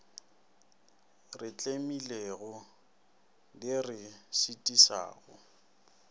re tlemilego di re šitišago